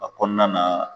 A kɔnɔna na